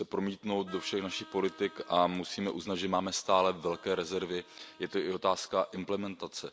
Měl by se promítnout do všech našich politik a musíme uznat, že máme stále velké rezervy, je to i otázka implementace.